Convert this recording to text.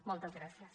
moltes gràcies